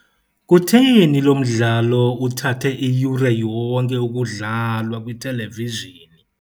Kutheni lo mdlalo uthathe iyure yonke ukudlalwa kwithelevizhini?